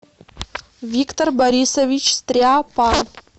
виктор борисович стряпа